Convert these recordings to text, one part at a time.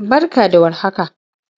Barka da warhaka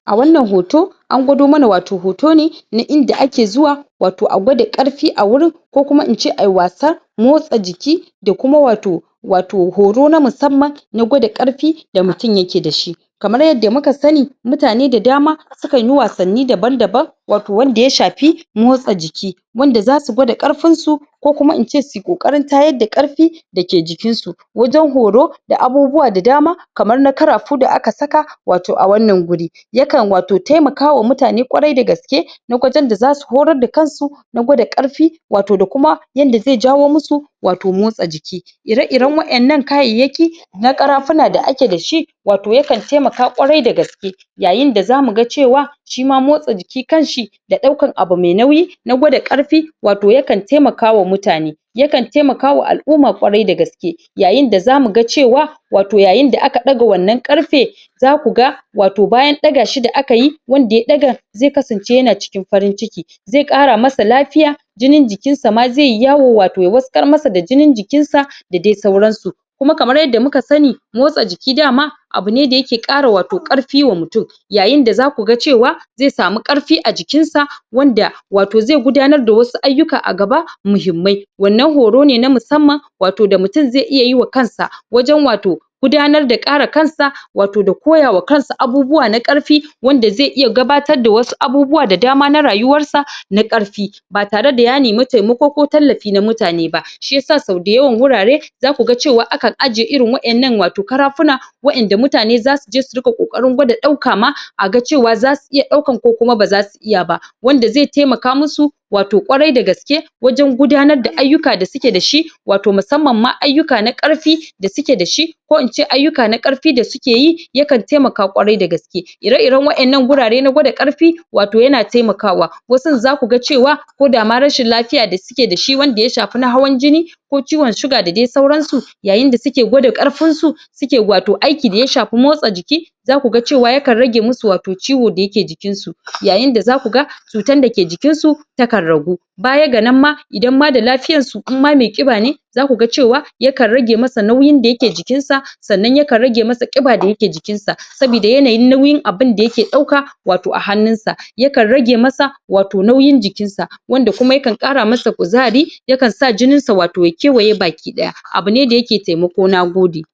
a wannan hoto an gwado mana watau hoto ne na inda ake zuwa watau a gwada ƙarfi a wurin ko kuma ince ayi wasan motsa jiki da kuma watau watau horo na musamman na gwada ƙarfi da mutum yake da shi kamar yadda muka sani mutane da dama sukan yi wasanni daban daban watau wanda ya shafi motsa jiki wanda zasu gwada ƙarfinsu ko kuma in ce su yi ƙoƙarin tayar da ƙarfi da ke jikinsu wajen horo da abubuwa da dama kamar na ƙarafu da aka saka watau a wannan wuri yakan watau taimakawa wa mutane ƙwarai da gaske lokacin da zasu horar da kansu na gwada ƙarfi watau da kuma yanda zai jawo musu watau motsa jiki ire-iren wa'innan kayayyaki na ƙarafuna da ake da shi watau yakan taimaka ƙwarai da gaske yayin da zamu ga cewa shima motsa jiki kanshi da ɗaukan abu mai nauyi na gwada ƙarfi watau yakan taimakawa mutane yakan taimakawa al'umma ƙwarai da gaske yayin da zamu ga cewa watau yayin da aka ɗaga wannan ƙarfe zaku ga watau bayan ɗaga shi da aka yi, wanda ya ɗaga zai kasance yana cikin farin ciki zai ƙara masa lafiya jinin jikin sa ma zai yi yawo watau ya wattsakar masa da jinin jikinsa da dai sauransu kuma kamar yadda muka sani motsa jiki dama abu ne da yake ƙara watau ƙarfi wa mutum yayin da zaku ga cewa zai samu ƙarfi a jikin sa wanda watau zai gudanar da wasu ayyuka a gaba muhimmai wannan horo ne na musamman watau da mutum zai iya yi wa kansa wajen watau gudanar ƙara kansa watau da koya wa kansa abubuwa na ƙarfi wanda zai iya gabatar da wasu abubuwa da dama na rayuwansa na ƙarfi ba tare da ya nemi taimako ko tallafi na mutane ba shiyasa sau dayawan wurare zaku ga cewa akan ajiye irin wa'innan watau ƙarafuna wa'inda mutane zasu je su riƙa ƙoƙarin gwada ɗauka ma a cewa zasu iya ɗaukan ko kuma baza su iya ba, wanda Zai taimaka musu watau ƙwarai da gaske wajen gudanar da ayyuka da suke da shi watau musamman ma ayyuka na ƙarfi da suke da shi ko ince ayyuka na ƙarfi da suke yi yakan taimaka ƙwarai da gaske ire-iren wa'innan wurare na gwada ƙarfi watau yana taimakawa wasun zaku ga cewa ko da ma rashin lafiya da suke da shi wanda ya shafi na hawan jini ko ciwon suga da dai sauransu yayin da suke gwada ƙarfin su suke watau aiki da ya shafi motsa jiki zaku ga cewa akan rage musu watau ciwo da yake jikinsu yayin da zaku ga cutan da ke jikin su takan ragu baya ga nan ba idan ma da lafiyan su in ma mai ƙiba ne zaku ga cewa yakan rage masa nauyin da yake jikinsa sannan yakan rage masa ƙiba da yake jikisa sabida yanayin nauyin abunda yake ɗauka watau a hannun sa yakan rage masa watau nauyin jikinsa wanda kuma yakam ƙara mishi kuzari yakan sa jininsa watau ya kewaye baki ɗaya abu ne da yake taimako. Nagode.